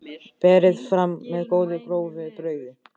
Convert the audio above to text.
Berið fram með góðu, grófu brauði.